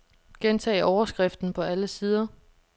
Gentag overskriften på alle sider.